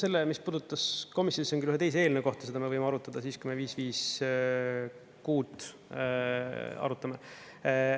Selle, mis puudutas komisjoni, küll ühe teise eelnõu kohta, seda me võime arutada siis, kui me 556 arutame.